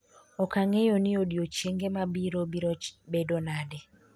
ok ang'eyo ni odiochienge mabiro biro bedo nade